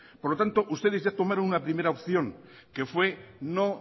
por lo tanto ustedes ya tomaron una primera opción que fue no